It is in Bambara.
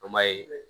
An m'a ye